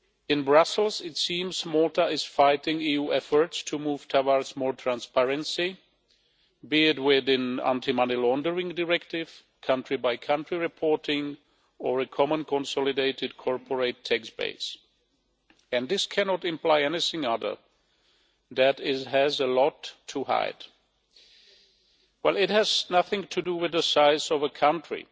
In Brussels it seems Malta is fighting EU efforts to move towards more transparency, be it within the anti money laundering directive, country by country reporting, or a common consolidated corporate tax base. This cannot imply anything other than it has a lot to hide. It has nothing to do with the size of the country,